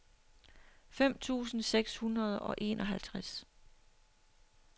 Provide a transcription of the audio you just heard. fem tusind seks hundrede og enoghalvtreds